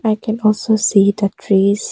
I can also see the trees.